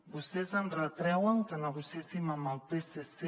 vostès ens retreuen que negociéssim amb el psc